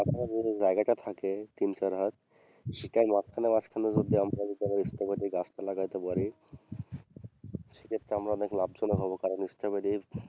হম যে জায়গাটা থাকে তিন চার হাত সেটায় মাঝখানে মাঝখানে যদি আমরা যদি স্ট্রবেরী গাছটা লাগতে পারি সেক্ষেত্রে আমরা অনেক লাভজনক হবো কারণ স্ট্রবেরীর,